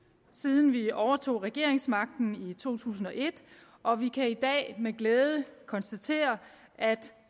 siden vi overtog regeringsmagten i to tusind og et og vi kan i dag med glæde konstatere at